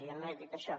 jo no he dit això